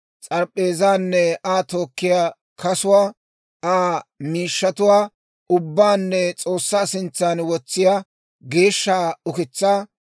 s'arp'p'eezaanne Aa tookkiyaa kasuwaa, Aa miishshatuwaa ubbaanne S'oossaa sintsaan wotsiyaa geeshsha ukitsaa;